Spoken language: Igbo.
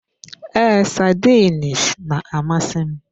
Ee, sardines na-amasị m.